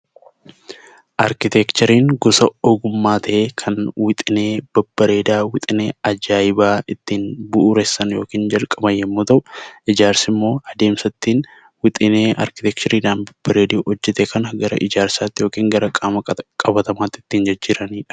Arkiteekchariin gosa ogummaa ta'ee, kan wixinee babbareedaa, wixinee ajaa'ibaa ittiin bu'uuressan yookiin ittiin jalqaban yoo ta'u; Ijaarsi immoo adeemsa ittiin wixinee arkiteekchariidhaan babbareedee hojjetame kana gara ijaarsaatti yookiin gara qaama qabatamaatti ittiin jijjiieamani dha.